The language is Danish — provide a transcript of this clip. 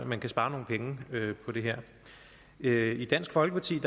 man kan spare nogle penge på det her i dansk folkeparti